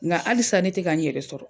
ŋa halisa ne tɛ ka n yɛrɛ sɔrɔ.